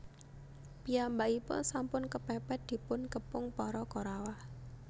Piyambakipun sampun kepèpèt dipun kepung para Korawa